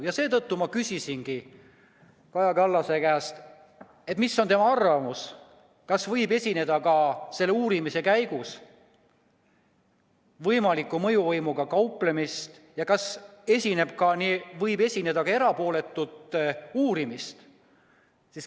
Ja seetõttu ma küsisingi Kaja Kallase käest, mis on tema arvamus, kas võib selle uurimise käigus esineda võimalikku mõjuvõimuga kauplemist ja kas võib esineda ka erapoolikut uurimist.